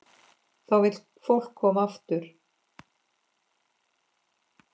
Þá vill fólk koma aftur.